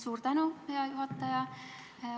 Suur tänu, hea juhataja!